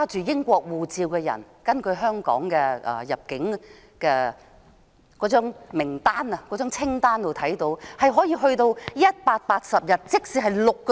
根據香港的入境慣例，所有持英國護照的人可獲簽證180天，即6個月。